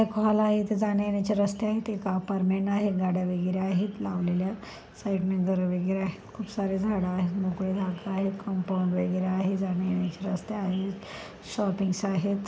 ''एक हॉल आहे इथे जाने येण्याचे रस्ते आहे. एक अपारमेन्ट आहे. गाड्या वगैरे आहे लावलेल्या साइड ने घर वगैरे आहे. खूप सार्‍या झाडा आहेत मोकळी जागा आहे कंपाऊंड वगैरे आहे जाने येण्याचे रस्ते आहे. शोप्पिंग्स आहे. ''